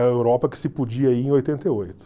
A Europa que se podia ir em oitenta e oito.